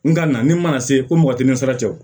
N ka na ni mana se ko mɔgɔ tɛ n sara cɛ o